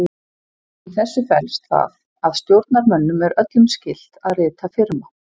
Í þessu felst það að stjórnarmönnum eru öllum skylt að rita firma.